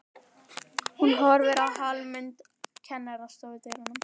Hún horfir á Hallmund kennara í stofudyrunum.